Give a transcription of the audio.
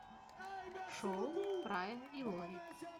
шоу фрая и лори